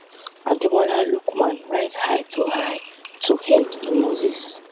ademola lookman rise high to high to head in moses